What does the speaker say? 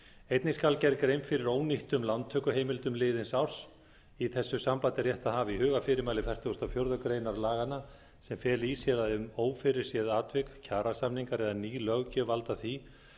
einnig skal gerð grein fyrir ónýttum lántökuheimildum liðins árs í þessu sambandi er rétt að hafa í huga fyrirmæli fertugasta og fjórðu grein laganna sem fela í sér að ef ófyrirséð atvik kjarasamningar eða ný löggjöf valda því